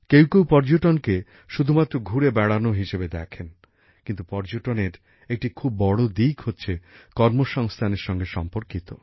কেউ কেউ পর্যটনকে শুধুমাত্র ঘুরে বেড়ানো হিসেবে দেখেন কিন্তু পর্যটনের একটি খুব বড় দিক কর্মসংস্থানএর সঙ্গে সম্পর্কিত